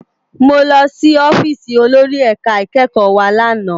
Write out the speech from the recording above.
Mó lòsì òfisi ólóri èká ikèékò wá làná